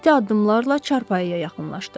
İti addımlarla çarpayıya yaxınlaşdı.